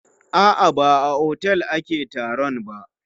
A'a, ba a otel ake taron ba.